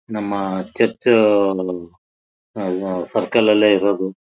ನಮ್ಮ ಚೇರ್ಚುಚ್ ಹ ಹ ಸರಕ್ಲು ಅಲ್ಲೇ ಇರದು.